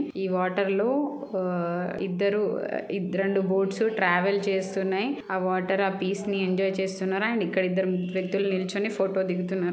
ఈ వాటర్ లో ఆ ఇద్దరు ఇద్ద రెండు బోట్స్ ట్రావెల్ చేస్తున్నాయిఆ వాటర్ ఆ పీస్ నీ ఎంజాయ్ చేస్తున్నారుఅండ్ ఇక్కడ ఇద్దరు వ్యక్తులు నిల్చొని ఫోటో దిగుతున్నారు.